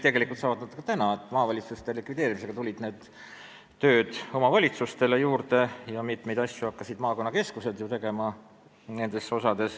Tegelikult tehakse seda ka praegu, sest maavalitsuste likvideerimisega tuli omavalitsustele tööd juurde ja mitmeid neid asju hakkasid ju tegema maakonnakeskused.